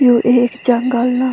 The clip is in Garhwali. यु एक जंगल ला।